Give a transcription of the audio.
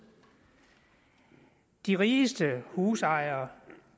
de rigeste husejere